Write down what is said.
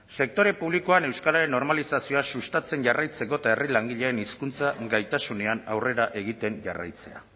sektore publikoan euskararen normalizazioa sustatzen jarraitzeko eta herri langileen hizkuntza gaitasunean aurrera egiten jarraitzea